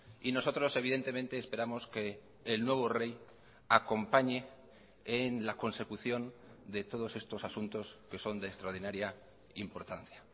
y nosotros evidentemente esperamos que el nuevo rey acompañe en la consecución de todos estos asuntos que son de extraordinaria importancia